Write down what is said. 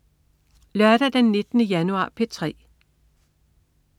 Lørdag den 19. januar - P3: